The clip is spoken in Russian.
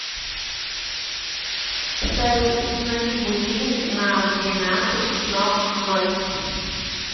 салют установи будильник на двенадцать но ноль